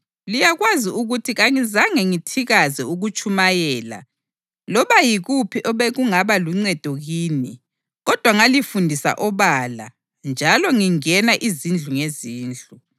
Liyakwazi ukuthi kangizange ngithikaze ukutshumayela loba yikuphi obekungaba luncedo kini kodwa ngalifundisa obala njalo ngingena izindlu ngezindlu.